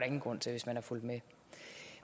ingen grund til hvis man har fulgt med